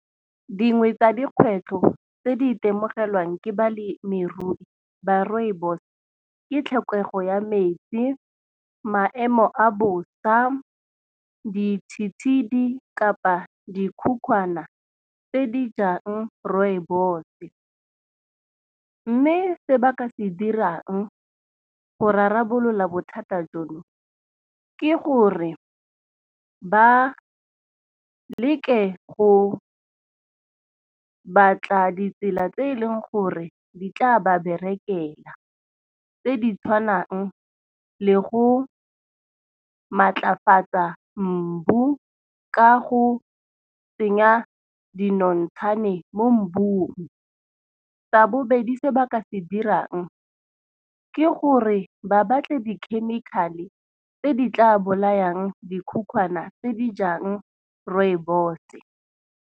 Dingwe tsa dikgwetlho tse di itemogelang ke balemirui ba rooibos. Ke tlhokego ya metsi, maemo a bosa ditshitshidi kapa dikhukhwane tse di jang rooibos-e. Mme se ba ka se dirang go re rarabolola bothata jono, ke gore ba leke go batla ditsela tse eleng gore di tla ba berekela, tse di tshwanang le go maatlafatsa mmu ka go tsenya dinontshane mo mmung. Sa bobedi se ba ka se dirang ke gore ba batle di-chemical-e tse di tla bolayang dikhukhwane tse di jang rooibos.